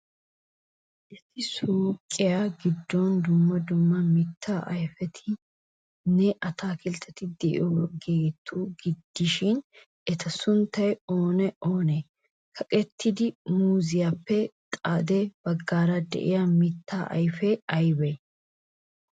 Issi suuqiyaa giddon dumma dumma mittaa ayfetinne ataakiltteti de'iyaageeta gidishin, eta sunttay oonee oonee? kaqqettida muuziyaappe xade baggaara de'iya mitta ayfee aybee?